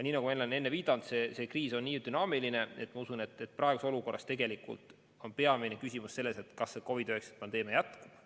Nii nagu ma olen enne viidanud, see kriis on nii dünaamiline, et ma usun, et praeguses olukorras on peamine küsimus selles, kas COVID-19 pandeemia jätkub.